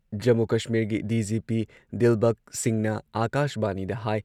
ꯖꯝꯃꯨ ꯀꯁꯃꯤꯔꯒꯤ ꯗꯤ.ꯖꯤ.ꯄꯤ ꯗꯤꯜꯕꯒ ꯁꯤꯡꯍꯅ ꯑꯥꯀꯥꯁꯕꯥꯅꯤꯗ ꯍꯥꯏ